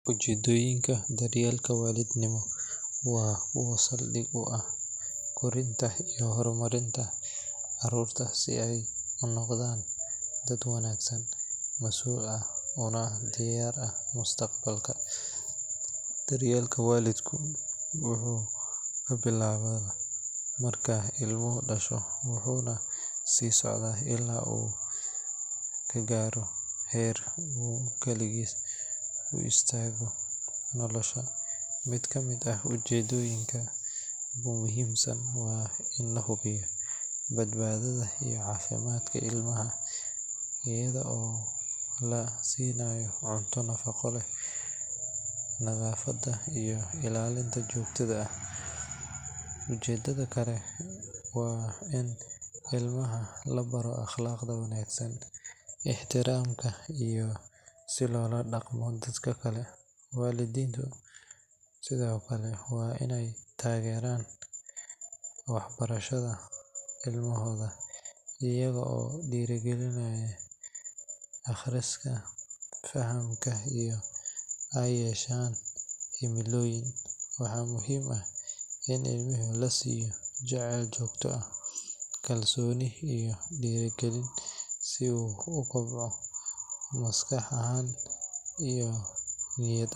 Ujeeddooyinka daryeelka waalidnimo waa kuwa saldhig u ah korinta iyo horumarinta carruurta si ay u noqdaan dad wanaagsan, mas’uul ah, una diyaar ah mustaqbalka. Daryeelka waalidku wuxuu ka bilaabmaa marka ilmuhu dhasho wuxuuna sii socdaa illaa uu ka gaaro heer uu kaligiis u istaago nolosha. Mid ka mid ah ujeeddooyinka ugu muhiimsan waa in la hubiyo badbaadada iyo caafimaadka ilmaha, iyada oo la siinayo cunto nafaqo leh, nadaafad iyo ilaalin joogto ah. Ujeeddo kale waa in ilmaha la baro akhlaaqda wanaagsan, ixtiraamka, iyo sida loola dhaqmo dadka kale. Waalidiintu sidoo kale waa inay taageeraan waxbarashada ilmahooda iyaga oo dhiirrigelinaya akhriska, fahamka, iyo in ay yeeshaan himilooyin. Waxaa muhiim ah in ilmaha la siiyo jacayl joogto ah, kalsooni, iyo dhiirigelin si uu u kobco maskax ahaan iyo niyad.